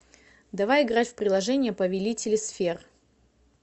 давай играть в приложение повелители сфер